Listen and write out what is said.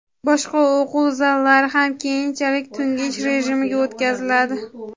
boshqa o‘quv zallari ham keyinchalik tungi ish rejimiga o‘tkaziladi.